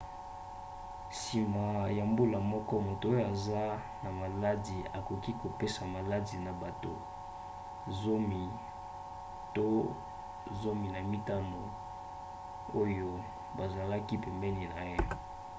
nsima ya mbula moko moto oyo aza na maladi akoki kopesa maladi na bato 10 to 15 oyo bazalaki pembeni na ye